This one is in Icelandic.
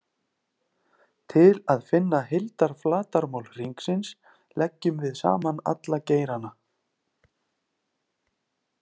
Til að finna heildarflatarmál hringsins leggjum við saman alla geirana.